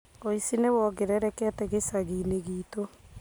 Ũici nĩ wongererekete gĩcagiinĩ gĩtũ